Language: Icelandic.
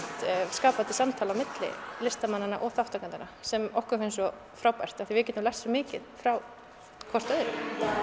skapandi samtal á milli listamannanna og þátttakendanna sem okkur finnst svo frábært af því að við getum lært svo mikið frá hvort öðru